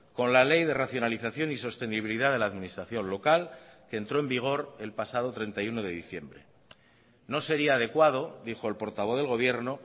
con la ley de racionalización y sostenibilidad de la administración local que entró en vigor el pasado treinta y uno de diciembre no sería adecuado dijo el portavoz del gobierno